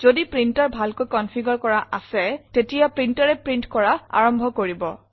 যদি প্ৰিণ্টাৰ ভালকৈ কনফিগাৰে কৰা আছে তেতিয়া printerএ প্ৰিণ্ট কৰা আৰম্ভ কৰিব